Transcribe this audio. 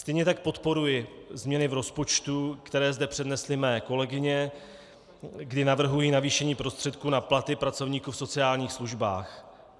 Stejně tak podporuji změny v rozpočtu, které zde přednesly mé kolegyně, kdy navrhují navýšení prostředků na platy pracovníků v sociálních službách.